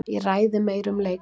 Ég ræði meira um leikmenn.